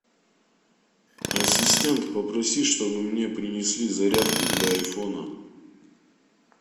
ассистент попроси чтобы мне принесли зарядку для айфона